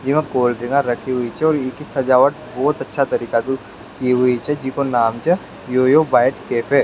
इमा cold drink रखी हुई छे और ईकी सजावट बहोत अच्छा तरीका से की हुई छे जीका नाम छ योयो बाईट कैफ़े